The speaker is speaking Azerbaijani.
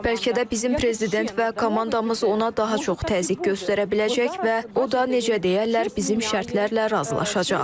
Bəlkə də bizim prezident və komandamız ona daha çox təzyiq göstərə biləcək və o da, necə deyərlər, bizim şərtlərlə razılaşacaq.